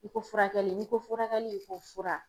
I ko furakɛli n'i ko furakɛli i ko fura.